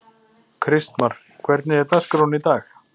Kristmar, hvernig er dagskráin í dag?